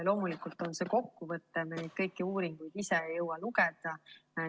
Loomulikult on see kokkuvõte, me kõiki uuringuid ei jõua ise lugeda.